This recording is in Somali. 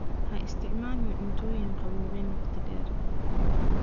Ha isticmaalin cuntooyinka qaboojiyey wakhti dheer.